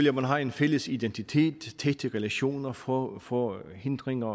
at man har en fælles identitet tætte relationer få få hindringer